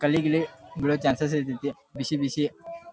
ಕಲಿ ಗಿಲಿ ಬೀಳೋ ಚಾನ್ಸಸ್ ಅಥಾಯ್ತಿ ಬಿಸಿಬಿಸಿ --